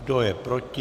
Kdo je proti?